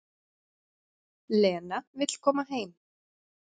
Lena vill koma heim.